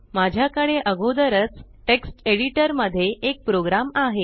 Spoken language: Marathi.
माझ्याकडे अगोदरच टेक्स्ट एडिटर मध्ये एक प्रोग्राम आहे